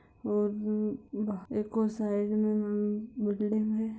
Side मे building है।